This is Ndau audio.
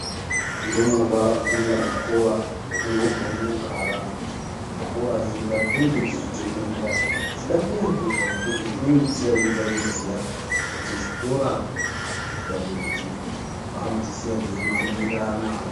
Ndumurwa padzinoenda kuzvikora hadzingogoni kugara muzvikora zvega, dzinenge dzeitenderera, dzechida kunakirwa nokuti dzinege dzisati dzasviziya kuti zvikora kunoendwa kundodzidza, vanodzisiya dzeyimhanyirirana.